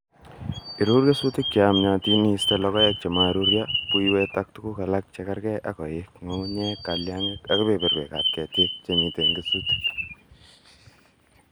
Iruur kesutik cheyamyootin iiste logoek chemaruryo, buywet ak tuguk alak chekerge ak koik, ngungunyek , kalyangik, ak kebeberwekab ketik chemiten en kesutik.